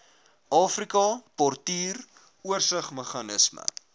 afrika portuur oorsigsmeganisme